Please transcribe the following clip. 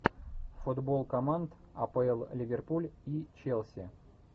футбол команд апл ливерпуль и челси